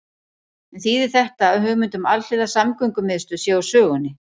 En þýðir þetta að hugmynd um alhliða samgöngumiðstöð sé úr sögunni?